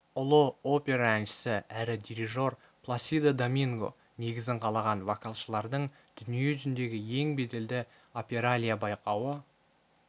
ұлы опера әншісі әрі дирижер пласидо доминго негізін қалаған вокалшылардың дүние жүзіндегі ең беделді опералия байқауы